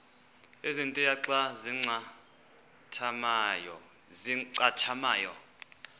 ezintia xa zincathamayo